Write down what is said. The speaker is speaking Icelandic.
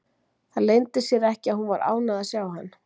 Það leyndi sér ekki að hún var ánægð að sjá hann.